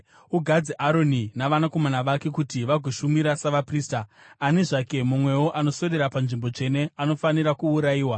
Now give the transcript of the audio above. Ugadze Aroni navanakomana vake kuti vagoshumira savaprista; ani zvake mumwewo anoswedera panzvimbo tsvene anofanira kuurayiwa.”